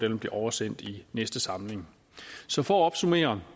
vil blive oversendt i næste samling så for at opsummere